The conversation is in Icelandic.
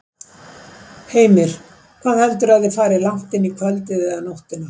Heimir: Hvað heldurðu að þið farið langt inn í kvöldið eða nóttina?